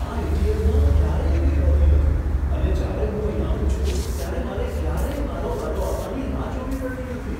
આ એટીએમમાં ક્યારેય ભીડ હોતી નથી અને જ્યારે હું અહીં આવું છું ત્યારે મારે ક્યારેય મારો વારો આવવાની રાહ જોવી પડતી નથી.